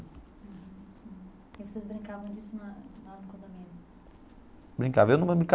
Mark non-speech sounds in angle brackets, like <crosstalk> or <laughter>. Uhum e vocês brincavam disso na lá no condomínio? Brincava. <unintelligible>